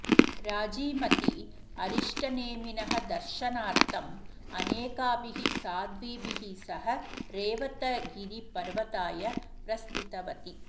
राजीमती अरिष्टनेमिनः दर्शनार्थम् अनेकाभिः साध्वीभिः सह रेवतगिरिपर्वताय प्रस्थितवती